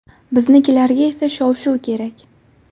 Biznikilarga esa shov-shuv kerak.